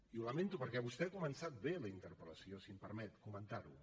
i ho lamento perquè vostè ha començat bé la interpel·lació si em permet comentar ho